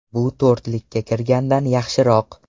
Bu to‘rtlikka kirgandan yaxshiroq.